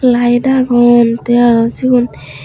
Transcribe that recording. light agon te aro sigun.